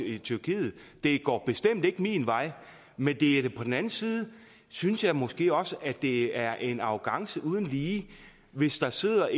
i tyrkiet det går bestemt ikke min vej men på den anden side synes jeg måske også at det er en arrogance uden lige hvis der sidder